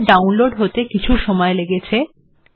বিমার্ download হতে কিছু সময় লেগেছে